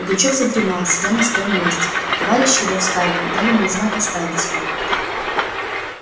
пугачёв задремал сидя на своём месте товарищи его встали и дали мне знак оставить его